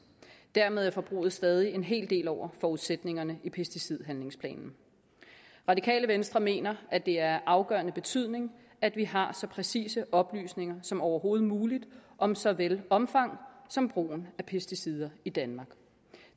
dermed er forbruget stadig en hel del over forudsætningerne i pesticidhandlingsplanen radikale venstre mener at det er af afgørende betydning at vi har så præcise oplysninger som overhovedet muligt om såvel omfanget som brugen af pesticider i danmark